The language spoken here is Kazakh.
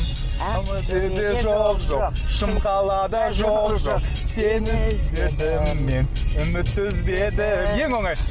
жоқ жоқ шымқалада жоқ жоқ сені іздедім мен үмітті үзбедім ең оңайы